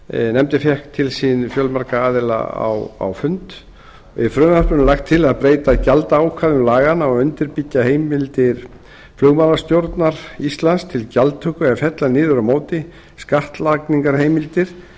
nefndin fékk til sín fjölmarga aðila á fund í frumvarpinu er lagt til að breyta gjaldaákvæðum laganna og undirbyggja heimildir flugmálastjórnar íslands til gjaldtöku en fella niður á móti skattlagningarheimildir